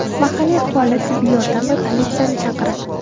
Mahalliy aholi tibbiy yordam va politsiyani chaqiradi.